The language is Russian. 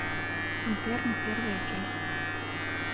интерны первая часть